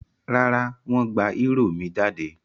Rárá, wọ́n gba eúrò mi jáde?